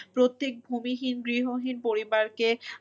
প্রত্যেক ভূমিহীন গৃহহীন পরিবারকে